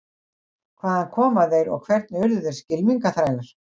Hvaðan komu þeir og hvernig urðu þeir skylmingaþrælar?